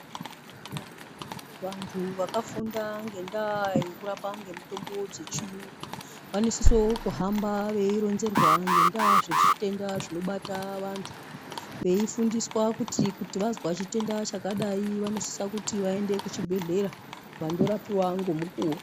Vantu vakafunda ngendaa yekurapa ngemitombo dzechiyungu vanosise kuhamba veironzerwa antu ngezvemitombo yechiyungu. Ngendaa yekuti kuti vazwa chitenda chakadai vanosisekuti vaende kuchibhehlera vandorapiva ngemukuwo.